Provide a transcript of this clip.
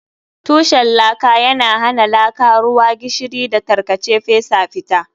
Tushen laka yana hana laka, ruwa, gishiri, da tarkace fesa fita.